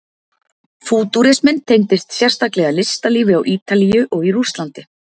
Fútúrisminn tengdist sérstaklega listalífi á Ítalíu og í Rússlandi.